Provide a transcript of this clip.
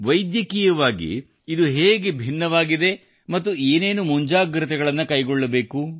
ವೈದ್ಯಕೀಯವಾಗಿ ಇದು ಹೇಗೆ ಭಿನ್ನವಾಗಿದೆ ಮತ್ತು ಏನೇನು ಮುಂಜಾಗೃತೆಗಳನ್ನು ಕೈಗೊಳ್ಳಬೇಕು